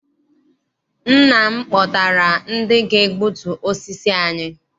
Nna m kpọtara ndị ga-egbutu osisi anyị.